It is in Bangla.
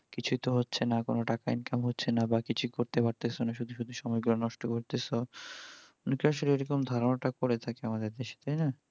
কিছুই তো হচ্ছে না কোনও টাকা income হচ্ছেনা বা কিছুই করতে পারতেছনা শুধু শুধু সময় গুলো নষ্ট করতেস, আসলে এইরকম ধারনা টা করে থাকে আমাদের দেশে তাই না